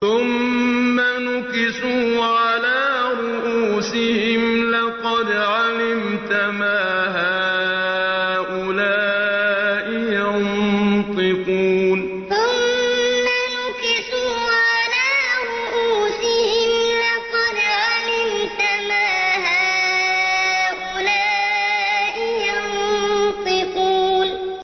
ثُمَّ نُكِسُوا عَلَىٰ رُءُوسِهِمْ لَقَدْ عَلِمْتَ مَا هَٰؤُلَاءِ يَنطِقُونَ ثُمَّ نُكِسُوا عَلَىٰ رُءُوسِهِمْ لَقَدْ عَلِمْتَ مَا هَٰؤُلَاءِ يَنطِقُونَ